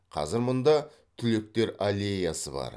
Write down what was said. қазір мұнда түлектер аллеясы бар